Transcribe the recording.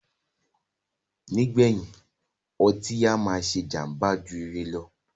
Nígbèyìn, ọtí á máà ṣé jàmbá jù ire lọ.